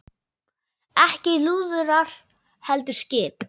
Ekki lúðrar heldur skip.